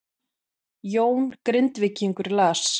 Jón Grindvíkingur las